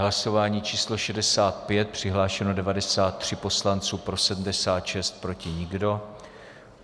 Hlasování číslo 65, přihlášeno 93 poslanců, pro 76, proti nikdo.